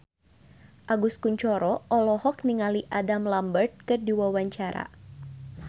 Agus Kuncoro olohok ningali Adam Lambert keur diwawancara